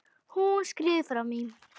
Hún skríður fram í.